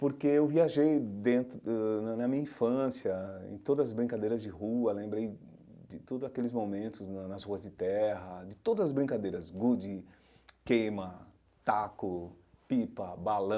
Porque eu viajei dentro ãh, na na minha infância, em todas as brincadeiras de rua, lembrei de todos aqueles momentos na nas ruas de terra, de todas as brincadeiras, gude, queima, taco, pipa, balão.